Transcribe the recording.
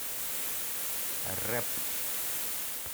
рэп